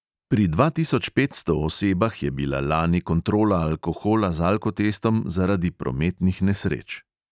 Pri dva tisoč petsto osebah je bila lani kontrola alkohola z alkotestom zaradi prometnih nesreč.